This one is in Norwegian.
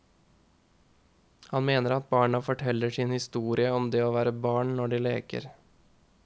Han mener at barna forteller sin historie om det å være barn når de leker.